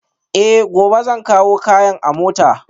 Eh, gobe zan kawo kayan a mota